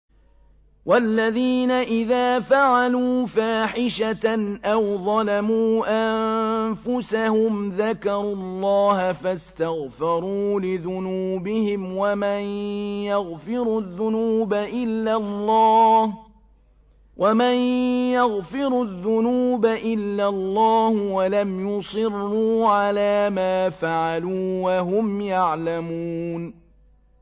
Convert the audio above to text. وَالَّذِينَ إِذَا فَعَلُوا فَاحِشَةً أَوْ ظَلَمُوا أَنفُسَهُمْ ذَكَرُوا اللَّهَ فَاسْتَغْفَرُوا لِذُنُوبِهِمْ وَمَن يَغْفِرُ الذُّنُوبَ إِلَّا اللَّهُ وَلَمْ يُصِرُّوا عَلَىٰ مَا فَعَلُوا وَهُمْ يَعْلَمُونَ